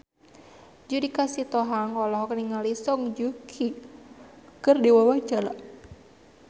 Judika Sitohang olohok ningali Song Joong Ki keur diwawancara